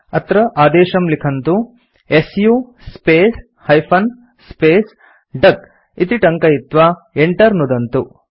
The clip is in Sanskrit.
अत्र आदेशं लिखन्तु160 su space hyphen space duck इति टङ्कयित्वा Enter नुदन्तु